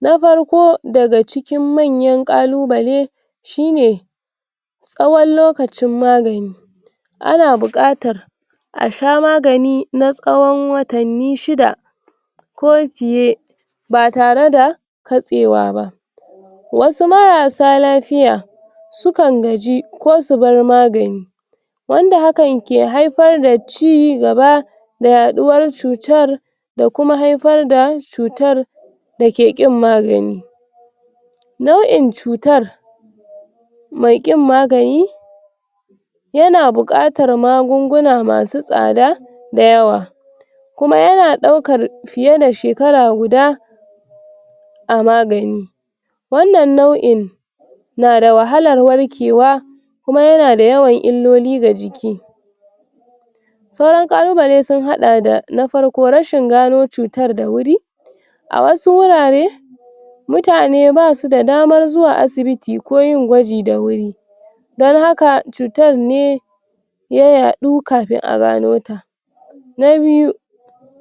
na farko daga cikin manyan ƙalubale shi ne tsawon lokacin magani ana buƙatar asha maganin na tsawon watanni shida ko fiye batareda katsewa ba wasu marasa lafiya sukan gaji ko su bar magani wanda hakan ke haifar da ci i[um] gaba da yaɗuwar cutar da kuma haifar da cutar dake k magani nau'in cutar mai ƙin magani yana buƙatar magunguna masu tsada dayawa kuma yana daukar fiye da shekara guda a magani wannan nau'in nada wahalar warkewa kuma yanada yawan illoli ga jiki sauran ƙalubale sun haɗa da na farko, rashin gano cutar da wuri a wasu wurare mutane basu da damar zuwa asibiti ko yin gwaji da wuri dan haka cutar ne ya yaɗu kafin agano ta na biyu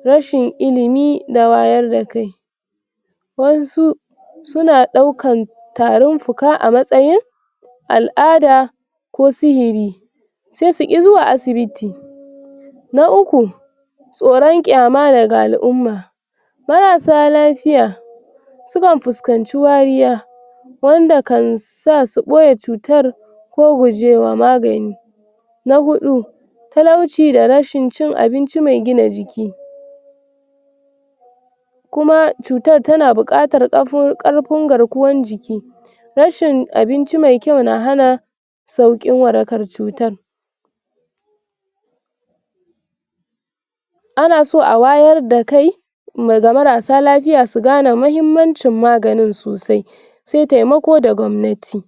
rashin ilimi da wayarda kai wasu suna ɗaukan tarin fuka amatsayin al'ada ko sihiri sai suki zuwa asibiti na uku tsoron kyama daga al'umma marasa lafiya sukan fuskanci wariya wanda kan sa su ɓoye cutar ko guje wa magani na huɗu talauci da rashin cin abinci me gina jiki kuma cutar tana buƙatar kafun[um] ƙarfin garkuwan jiki rashin abinci me kyau na hana sauƙin warakar cutan anaso awayar da kai ma ga marasa lafiya su gane mahimmancin maganin sosai se temako da gwamnati